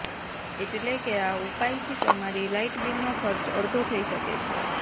એટલે કે આ ઉપાય થી તમારી લાઈટ બિલનો ખર્ચ અડધો થઇ શકે છે